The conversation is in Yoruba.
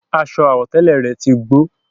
Aṣọ àwọ̀tẹ́lẹ̀ rẹ̀ tí gbó